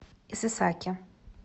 исэсаки